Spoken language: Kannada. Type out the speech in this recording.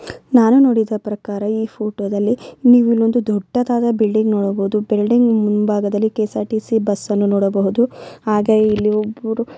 ನಾನು ನೋಡಿದ ಪ್ರಕಾರ ಈ ಫೋಟೋದಲ್ಲಿ ನೀವು ಇಲ್ಲಿ ಒಂದು ದೊಡ್ಡ ಬಿಲ್ಡಿಂಗ್ ನೋಡಬಹುದು. ಬಿಲ್ಡಿಂಗ್ ಮುಂಬಾಗದಲ್ಲಿ ಕೆ.ಎಸ್.ಆರ್ ಟಿ.ಸಿ ಬಸ್ಸನ್ನು ನೋಡಬಹುದು ಹಾಗೆ ಇಲ್ಲಿ ಒಬ್ಬರು--